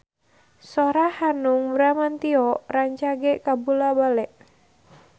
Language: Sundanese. Sora Hanung Bramantyo rancage kabula-bale